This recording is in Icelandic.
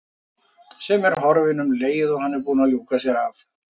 Sem er horfin um leið og hann er búinn að ljúka sér af.